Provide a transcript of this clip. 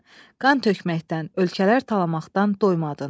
Qan tökməkdən, ölkələr talamaqdan doymadın.